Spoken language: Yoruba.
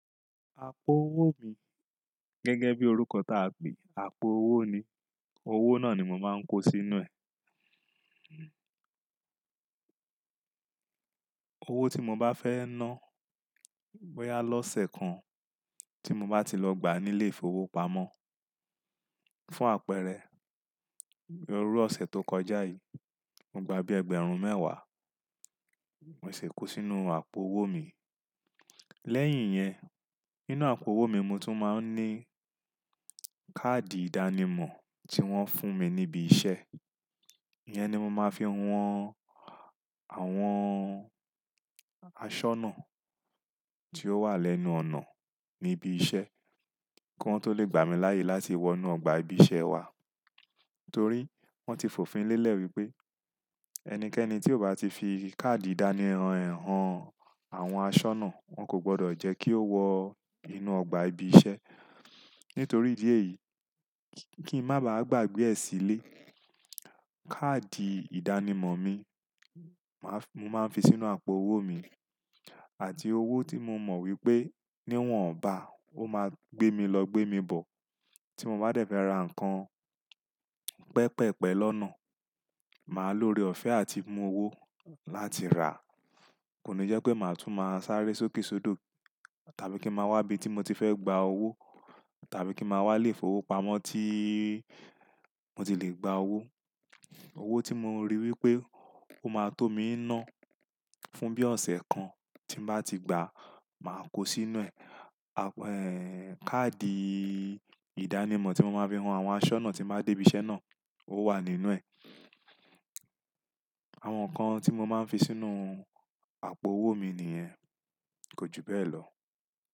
Àpò owó mi gẹ́gẹ́ bí orúkọ tá pè àpò owó ni, owó náà ni mo máa ń kó sí inú ẹ. Owó tí mo bá fẹ́ ná bóyà lọ́sẹ̀ kan tí mo bá ti lọ gbà nílé ìfowópamọ́ fún àpẹẹrẹ, ní irú ọ̀sẹ̀ tó kọjá yìí, mo gbà bí ẹgbẹ̀rún mẹ́wàá, mo sì kó sínú àpò owó mi. Lẹ́yìn yẹn, nínú àpò owó mi mo tún máa ń ní káàdì ìdánimọ̀ tí wọ́n fún mi níbí iṣẹ́. Ìyẹn ni mo máa ń fi han àwọn aṣọ́nà tí ó wà lẹ́nu ọ̀nà níbí iṣẹ́ kí wọ́n tó lè gbà mí láàyè láti wọ inú ọgbà ibi iṣẹ́ wa. Torí wọ́n ti fòfin lélẹ̀ wípé ẹnikẹ́ni tí ò bá ti fi káàdì ìdánimọ̀ ẹ̀ han àwọn aṣọ́nà, wọn kò gbọdọ̀ jẹ́ kí ó wọ inú ọgbà ibi iṣẹ́. Nítorí ìdí èyí, kí ń máa ba à gbàgbé ẹ̀ sílé, káàdì ìdánimọ̀ mi, màá fi, mo máa ń fi sínú àpò owó mi àti owó tí mo mọ̀ wípé ní wọ́n bá, ó máa gbé mi lọ gbé mi bọ̀ tí mo bá dẹ̀ fẹ́ ra nǹkan pẹ́pẹ̀pẹ́ lọ́nà. Màá lòore ọ̀fẹ́ àti mú owó láti ràá. Kò ní jẹ́ pé màá tún máa sáré sókèsódò tàbí kí n màá wá ibi tí mo ti fẹ́ gbà owó tàbí kí màá wá lé ìfowópamọ́ tí mo ti lè gba owó. Owó tí mo rí wípé ó máa tó mi ná fún bí ọ̀sẹ̀ kan tí n bá ti gbà, màá kó sínú ẹ̀. Àpọ̀, káàdì ìdánimọ̀ tí mo máa ń fi han àwọn aṣọ́nà tí n bá dé ibi iṣẹ́ náà ó wà nínú ẹ̀. Àwọn nǹkan tí mo máa ń fi sínú àpò owó mi nìyẹn. Kò ju bẹ́ẹ̀ lọ.